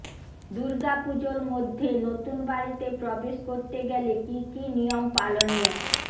দুর্গাপুজোর মধ্যে নতুন বাড়িতে প্রবেশ করতে গেলে কী কী নিয়ম পালনীয়